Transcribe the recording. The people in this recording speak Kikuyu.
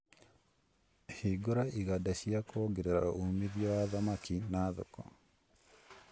Hingũra iganda cia kuongerera uumithio wa thamaki na thoko